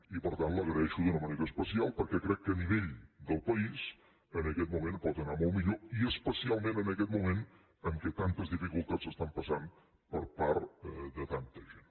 i per tant li ho agraeixo d’una manera especial perquè crec que a nivell del país en aquest moment pot anar molt millor i especialment en aquest moment en què tantes dificultats s’estan passant per part de tanta gent